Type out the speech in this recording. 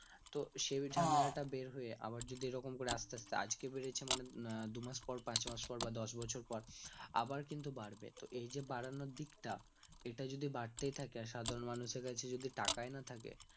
তো সেই ঝামেলা টা বের হয়ে আবার যদি এরকম করে আস্তে আস্তে আজকে বেড়েছে মানে দু মাস পর পাঁচ মাস পর বা দশ বছর পর আবার কিন্তু বাড়বে তো এই যে বাড়ানোর দিকটা এটা যদি বাড়তেই থাকে আর সাধারণ মানুষের কাছে যদি তাকাই না থাকে